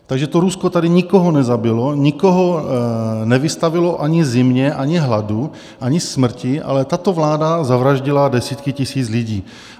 Takže to Rusko tady nikoho nezabilo, nikoho nevystavilo ani zimě, ani hladu, ani smrti, ale tato vláda zavraždila desítky tisíc lidí.